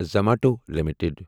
Zomato limited